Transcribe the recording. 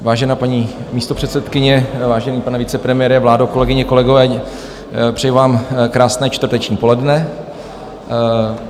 Vážená paní místopředsedkyně, vážený pane vicepremiére, vládo, kolegyně, kolegové, přeju vám krásné čtvrteční poledne.